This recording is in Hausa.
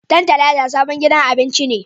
Tantalaiza sabon gidan abincin ne